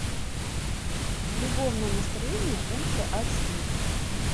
любовное настроение ультра эйч ди